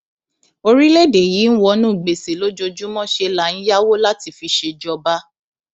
orílẹèdè yìí ń wọnú gbèsè lójoojúmọ ṣe là ń yáwó láti fi ṣèjọba